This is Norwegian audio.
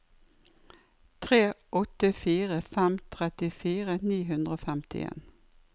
tre åtte fire fem trettifire ni hundre og femtien